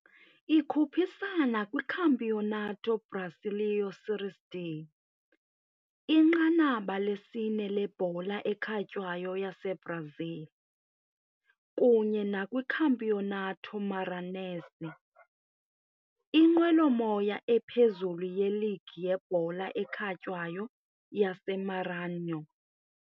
Ikhuphisana kwiCampeonato Brasileiro Série D, inqanaba lesine lebhola ekhatywayo yaseBrazil, kunye nakwiCampeonato Maranhense, inqwelomoya ephezulu yeligi yebhola ekhatywayo yaseMaranhão.